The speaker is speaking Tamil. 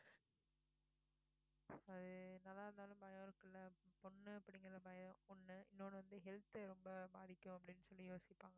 அது என்னதான் இருந்தாலும் பயம் இருக்கும்ல பொண்ணு அப்படிங்கிற பயம் ஒண்ணு இன்னொன்னு வந்து health அ ரொம்ப பாதிக்கும் அப்படினு சொல்லி யோசிப்பாங்க.